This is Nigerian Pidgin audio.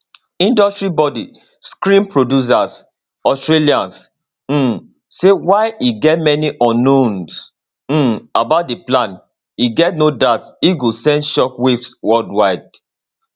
industry body screen producers australia um say while e get many unknowns um about di plan e get no doubt e go send shock waves worldwide